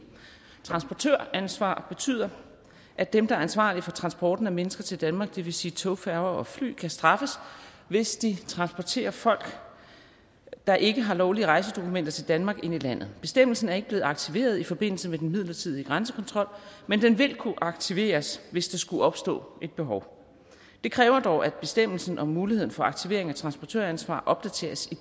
transportøransvar betyder at dem der er ansvarlige for transporten af mennesker til danmark det vil sige tog færger og fly kan straffes hvis de transporterer folk der ikke har lovlige rejsedokumenter til danmark ind i landet bestemmelsen er ikke blevet aktiveret i forbindelse med den midlertidige grænsekontrol men den vil kunne aktiveres hvis der skulle opstå et behov det kræver dog at bestemmelsen om muligheden for aktivering af transportøransvar opdateres i